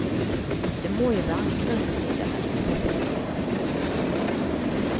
Det må jo være en grunn til at han ikke får fisk hele tiden. punktum